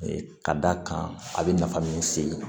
Ka d'a kan a bɛ nafa min se